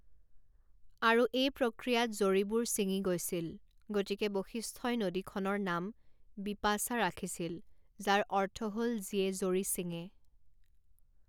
আৰু এই প্ৰক্ৰিয়াত জৰীবোৰ ছিঙি গৈছিল, গতিকে বশিষ্ঠই নদীখনৰ নাম বিপাশা ৰাখিছিল যাৰ অৰ্থ হ'ল যিয়ে জৰী ছিঙে।